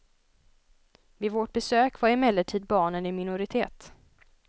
Vid vårt besök var emellertid barnen i minoritet.